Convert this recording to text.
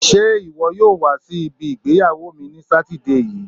Ṣé iwọ yóò wa si ibi ìgbéyàwó mi ní sátidé yii?